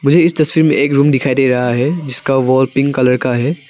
मुझे इस तस्वीर में एक रूम दिखाई दे रहा है जिसका वॉल पिंक कलर का है।